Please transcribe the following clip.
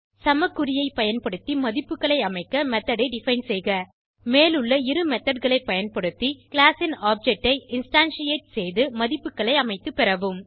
சமக்குறியை பயன்படுத்தி மதிப்புகளை அமைக்க மெத்தோட் ஐ டிஃபைன் செய்க மேலுள்ள இரு methodகளை பயன்படுத்தி கிளாஸ் ன் ஆப்ஜெக்ட் ஐ இன்ஸ்டான்ஷியேட் செய்து மதிப்புகளை அமைத்து பெறவும்